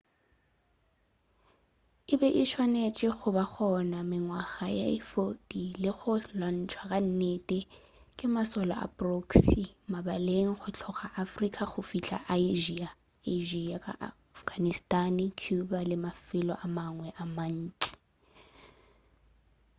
e be e swanetše go ba gona mengwaga ye 40 le go lwantšhwa ka nnete ke mašole a proxy mabaleng go tloga afrika go fihla asia ka afghanistan cuba le mafelo a mangwe a mantši